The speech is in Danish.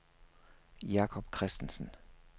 Jakob Kristensen